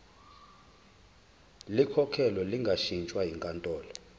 likhokhelwe lingashintshwa yinkantolo